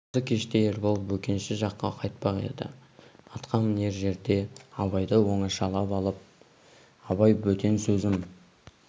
осы кеште ербол бөкенші жаққа қайтпақ еді атқа мінер жерде абайды оңашалап алып абай бөтен сөзім